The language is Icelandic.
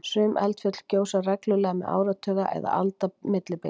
sum eldfjöll gjósa reglulega með áratuga eða alda millibili